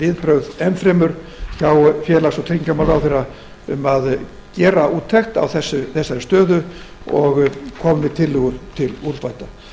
viðbrögðum hjá félags og tryggingamálaráðherra um að gerð úttekt á þessari stöðu og komið með tillögur til úrbóta